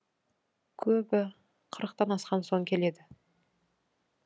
көбі қырықтан асқан соң келеді